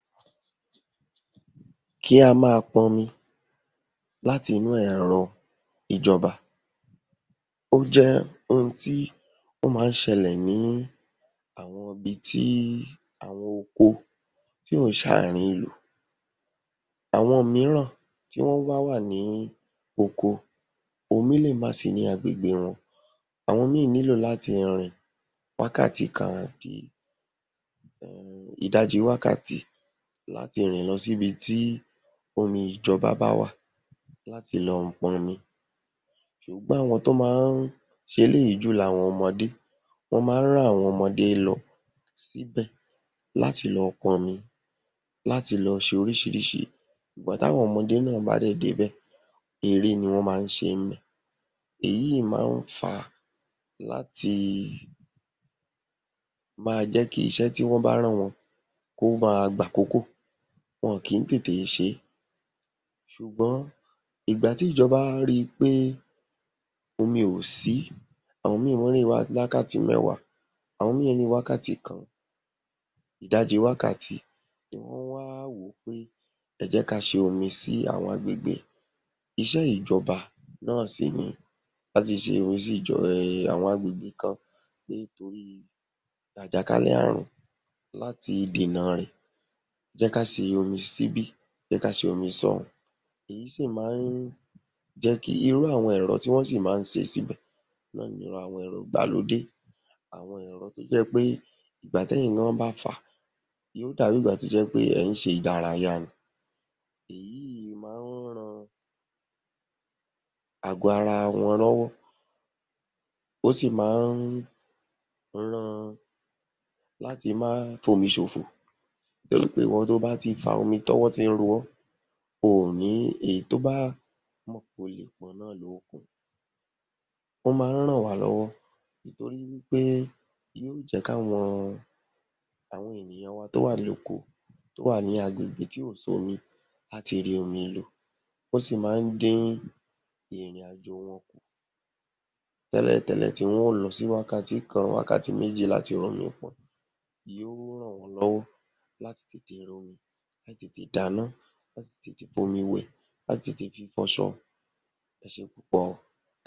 Kí a máa pọnmi láti inú ẹ̀rọ ìjọba ó jẹ́ ohun tí ó má ń ṣẹlẹ̀ ní àwọn ibi tí àwọn oko tí ò ń ṣàárín ìlú. Àwọn mííràn tí wọ́n bá wà ní oko, omi lè má sí ní agbègbè wọn. Àwọn míì nílò láti rin wákàtí kan àbí ìdajì wákàtí láti rìn lọ sí ibi tí omi ìjọba bá wà láti lọ pọnmi ṣùgbọ́n àwọn tó má ń ṣe eléyìí jù ni àwọn ọmọdé. Wọ́n má ń rán àwọn ọmọdé lọ síbẹ̀ láti lọ pọnmi, láti lo ṣe oríṣiríṣi. Ìgbà tí àwọn ọmọdé náà bá dẹ̀ débẹ̀, eré ni wọ́n má ń ṣe. èyí má ń fà á láti máa jẹ́ kí iṣẹ́ tí wọ́n bá rán wọn kó máa gbàkókò, wọn ò kí ń tètè ṣe é, ṣùgbọ́n ìgbà tí ìjọba rí i pé omi ò sí, àwọn míì wọ́n ń rin wákàtí mẹ́wàá, àwọn míì ń rin wákàtí kan, ìdajì wákàtí, ni wọ́n wá wò ó pé ẹ jẹ́ ká ṣe omi sí àwọn agbègbè. Iṣẹ́ ìjọba náà sì ni láti ṣe omi sí um àwọn agbègbè kan pé torí àjàkálẹ̀ ààrùn láti dènà rẹ̀, jẹ́ ká ṣomi síbí, jẹ́ ká ṣomi sọ́ùún. Èyí sì má ń jẹ́ kí… irú àwọn ẹ̀rọ tí wọ́n sì má ń ṣe síbẹ̀ náà ni àwọn ẹ̀rọ ìgbàlódé, àwọn ẹ̀rọ tó jẹ́ pé ìgbà t’ẹ́yin gan an bá fà á, yóó dàbí ìgbà tó jẹ́ pé ẹ̀ ń ṣe ìdárayá ni, èyí má ń ran àgọ́ ara wọn lọ́wọ́, ò sí má ń ran… láti má fomi ṣòfò. Torí pé ìwọ tó o bá ti fa omi, tọwọ ti ń ro ọ́, oò ní… èyí tó o bá mọ̀ pé o lè pọn náà lo ó pọn. Wọ́n má ń ràn wá lọ́wọ́ ìtorí pé yóó jẹ́ kí àwọn àwọn ènìyàn wa tó wà ní okó, tó wà ní agbègbè tí ò sómi láti rí omi lò. Ó sì má ń dín ìrìnàjò wọn kù, tẹ́lẹ̀tẹ́lẹ̀ tí wọ́n ó lọ sí wákàtí kan, wákàtí méjì láti rómi pọn. Yóó ràn wọ́n lọ́wọ́ láti tètè r’ómi, láti tètè dáná, láti tètè f’omi wẹ̀, láti tètè fi fọṣọ. Ẹ ṣé púpọ̀ o. ̣